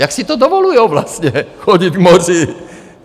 Jak si to dovolují vlastně chodit k moři?